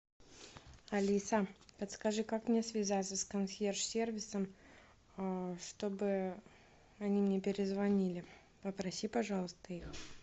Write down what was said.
алиса подскажи как мне связаться с консьерж сервисом чтобы они мне перезвонили попроси пожалуйста их